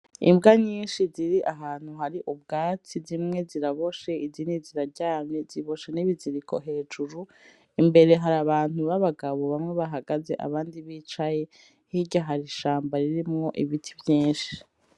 Imbwa nyishi ziri ahantu hari ubwatsi zimwe ziraboshe izindi ziraryamye ziboshe n'ibiziriko hejuru imbere hari abantu babagabo bamwe bahagaze abandi bicaye hirya hari ishamba ririmwo ibiti vyishi.